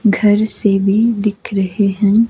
घर से भी दिख रहे हैं।